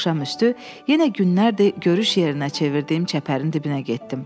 Axşamüstü yenə günlərdir görüş yerinə çevirdiyim çəpərin dibinə getdim.